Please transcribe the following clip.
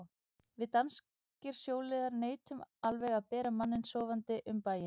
Við danskir sjóliðar neitum alveg að bera manninn sofandi um bæinn.